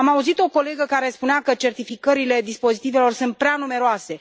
Am auzit o colegă care spunea că certificările dispozitivelor sunt prea numeroase.